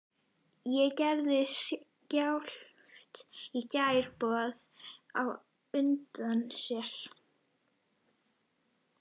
En gerði skjálftinn í gær boð á undan sér?